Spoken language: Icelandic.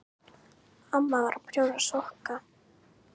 Amma var að prjóna sokka.